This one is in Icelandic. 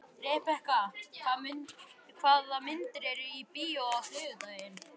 Rebekka, hvaða myndir eru í bíó á þriðjudaginn?